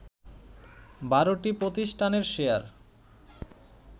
১২টি প্রতিষ্ঠানের শেয়ার